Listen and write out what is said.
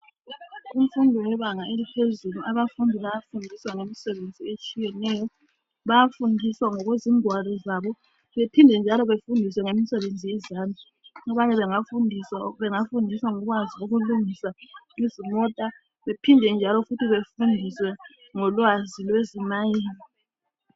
Abafundi bebanga eliphezulu abafundi bayafundiswa ngemisebenzi etshiyeneyo. Bayafundiswa ngokwezingwalo zabo ,baphinde njalo bafundiswe ngemisebenzi yezandla. Abanye bangafundiswa ngokwazi lokulungisa izimota baphinde njalo bafundiswe ngo lwazi lwezi mayini.